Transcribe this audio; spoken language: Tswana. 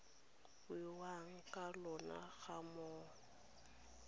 buiwang ka lona ga mmogo